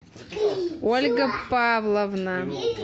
ольга павловна